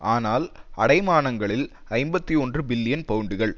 ஆனால் அடைமானங்களில் ஐம்பத்தி ஒன்று பில்லியன் பவுண்டுகள்